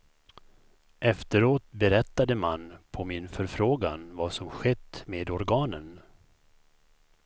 Efteråt berättade man, på min förfrågan, vad som skett med organen.